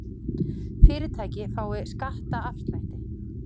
Fyrirtæki fái skattaafslætti